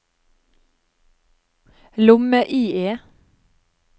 lomme-IE